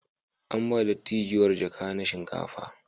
An ba dattijuwar jaka na shinkafa.